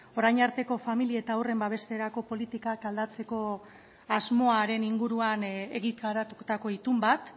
orain arteko famili eta haurren babesterako politikak aldatzeko asmoaren inguruan egitaratutako itun bat